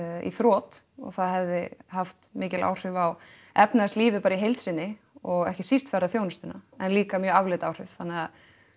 í þrot og það hefði haft mikil áhrif á efnahagslífið í heils sinni og ekki síst ferðaþjónustuna en líka mjög afleidd áhrif þannig að